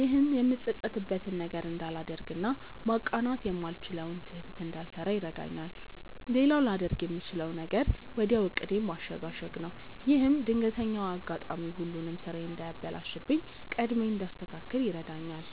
ይህም የምጸጸትበትን ነገር እንዳላደርግ እና ማቃናት የማልችለውን ስህተት እንዳልሰራ ይረዳኛል። ሌላው ላደርግ የምችለው ነገር ወዲያው ዕቅዴን ማሸጋሸግ ነው። ይህም ድንገተኛው አጋጣሚ ሁሉንም ስራዬን እንዳያበላሽብኝ ቀድሜ እንዳስተካክል ይረዳኛል።